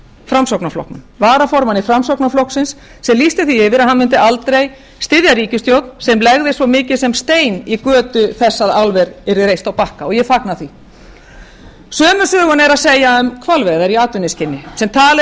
framsóknarflokknum varaformanni framsóknarflokksins sem lýsti því yfir að hann mundi aldrei styðja ríkisstjórn sem legði svo mikið sem stein í götu þess að álver yrði reist á bakka og ég fagna því sömu söguna er að segja um hvalveiðar í atvinnuskyni sem talið